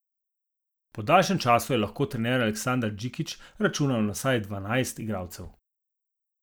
Po daljšem času je lahko trener Aleksander Džikić računal na vseh dvanajst igralcev.